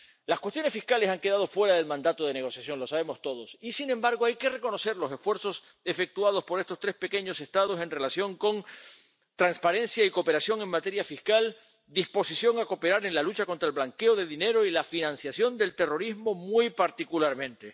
Las cuestiones fiscales han quedado fuera del mandato de negociación —lo sabemos todos— y, sin embargo, hay que reconocer los esfuerzos efectuados por estos tres pequeños Estados en relación con la transparencia y la cooperación en materia fiscal, la disposición a cooperar en la lucha contra el blanqueo de dinero y la financiación del terrorismo muy particularmente.